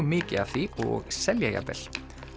mikið af því og selja jafnvel